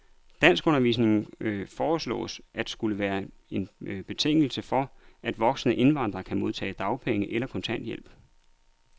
Danskundervisning foreslås at skulle være en betingelse for, at voksne indvandrere kan modtage dagpenge eller kontanthjælp.